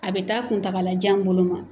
A bɛ taa kuntaalajan bolo ma